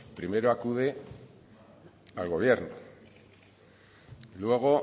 primero acude al gobierno y luego